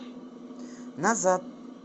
назад